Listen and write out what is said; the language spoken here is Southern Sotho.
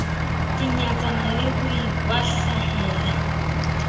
ke nyatsana le ho ikwahlahela